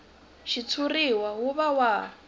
xitshuriwa wu va wa ha